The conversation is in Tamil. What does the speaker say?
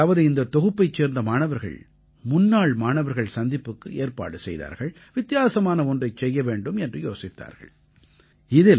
அதாவது இந்தத் தொகுப்பைச் சேர்ந்த மாணவர்கள் முன்னாள் மாணவர்கள் சந்திப்புக்கு ஏற்பாடு செய்தார்கள் வித்தியாசமான ஒன்றைச் செய்ய வேண்டும் என்று யோசித்தார்கள்